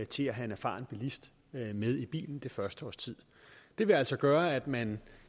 til at have en erfaren bilist med i bilen det første års tid det vil altså gøre at man